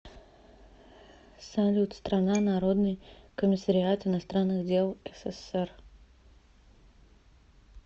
салют страна народный комиссариат иностранных дел ссср